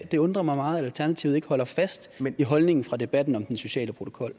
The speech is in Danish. det undrer mig meget at alternativet ikke holder fast i holdningen fra debatten om den sociale protokol